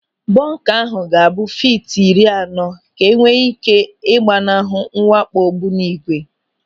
Bọnka ahụ ga-abụ fiiti iri anọ ka enwee ị́ké ị gbanahụ mwakpo ogbunigwe.